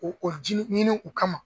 O o ji ɲini u kama